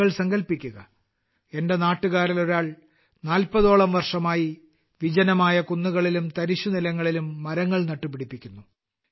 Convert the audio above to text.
നിങ്ങൾ സങ്കൽപിക്കുക എന്റെ നാട്ടുകാരിൽ ഒരാൾ നാല്പതോളം വർഷമായി വിജനമായ കുന്നുകളിലും തരിശുനിലങ്ങളിലും മരങ്ങൾ നട്ടുപിടിപ്പിക്കുന്നു